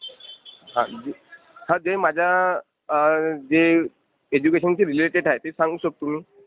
हा जे माझ्या... अं जे एड्युकेशनशी रिलेटेड आहे ते सांगू शकतो मी.